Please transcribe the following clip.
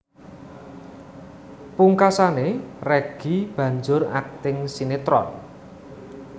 Pungkasané Reggy banjur akting sinétron